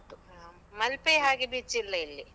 ಹಾ. ಮಲ್ಪೆ ಹಾಗೆ beach ಇಲ್ಲ ಇಲ್ಲಿ.